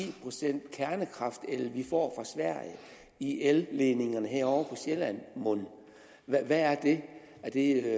procent kernekraftel vi får sverige i elledningerne herovre på sjælland mon hvad er det er det